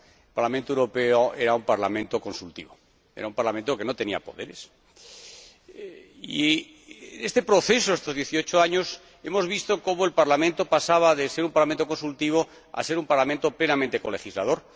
El Parlamento Europeo era un parlamento consultivo. Era un parlamento que no tenía poderes. En este proceso, en estos dieciocho años, hemos visto cómo el Parlamento pasaba de ser un parlamento consultivo a ser un parlamento plenamente colegislador.